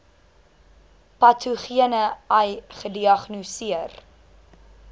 patogene ai gediagnoseer